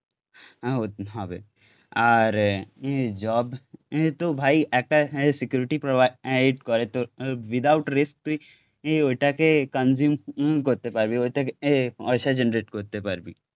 ও হবে, আর জব তো ভাই একটা সিকিউরিটি প্রোভাইড করে তো উইদাউটথ রিস্ক তুই ওইটাকে কনজিউম করতে পারবি ওইটাকে পয়সা জেনারেট করতে পারবি